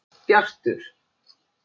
Bjartur